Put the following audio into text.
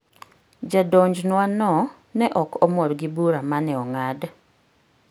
Jadonjnwano ne ok mor gi bura ma ne ong'ad.